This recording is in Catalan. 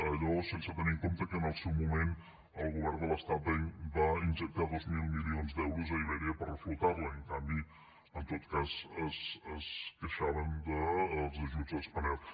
allò sense tenir en compte que en el seu moment el govern de l’estat va injectar dos mil milions d’euros a iberia per reflotar la i en canvi en tot cas es queixaven dels ajuts a spanair